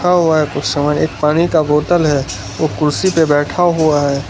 एक पानी का बोतला है वो कुर्सी पर बैठा हुआ है।